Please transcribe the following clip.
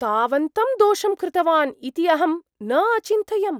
तावन्तं दोषं कृतवान् इति अहम् न अचिन्तयम्? (छात्रः)